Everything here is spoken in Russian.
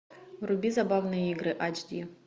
вруби забавные игры ач ди